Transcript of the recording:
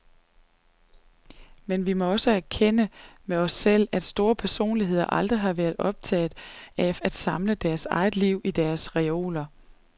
Men vi må også erkende med os selv, at store personligheder aldrig har været optaget af at samle deres eget liv i deres reoler.